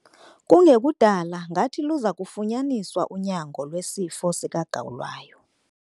Kungekudala ngathi luza kufunyaniswa unyango lwesifo sikagawulayo.